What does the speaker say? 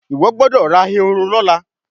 Iwọ gbódò rà Ehoro lọla.